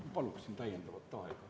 Ma paluksin kolm minutit lisaaega.